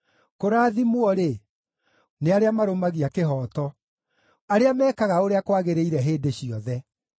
Kũrathimwo-rĩ, nĩ arĩa marũmagia kĩhooto, arĩa meekaga ũrĩa kwagĩrĩire hĩndĩ ciothe.